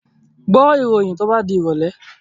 Gbọ́ ìròyìn to bá di ìrọ̀lẹ̀!